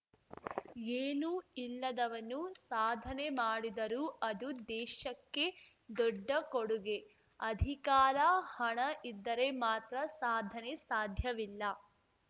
ಏನೂ ಇಲ್ಲದವನು ಸಾಧನೆ ಮಾಡಿದರು ಅದು ದೇಶಕ್ಕೆ ದೊಡ್ಡ ಕೊಡುಗೆ ಅಧಿಕಾರ ಹಣ ಇದ್ದರೆ ಮಾತ್ರ ಸಾಧನೆ ಸಾಧ್ಯವಿಲ್ಲ